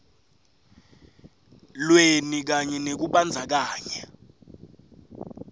lweni kanye nekumbandzakanya